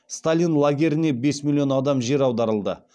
сталин лагерлеріне бес миллион адам жер аударылды